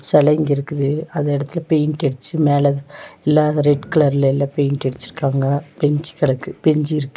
செல இங்க இருக்குது அதெடத்தில பெயிண்ட் அடிச்சி மேல இல்லாத ரெட்கலர் லெல்லாம் பெயிண்ட் அடிச்சிருக்காங்க பெஞ்ச் கிடக்கு பெஞ்ச் இருக்கு.